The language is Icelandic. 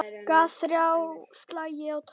Gaf ÞRJÁ slagi á tromp.